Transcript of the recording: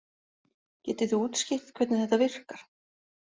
Getið þið útskýrt hvernig þetta virkar?